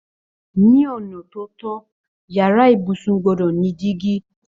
Ní ona tó tọ, yàrá ibùsùn gbọ́dọ̀ ni dígí